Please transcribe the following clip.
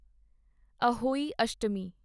Ahoi Ashtami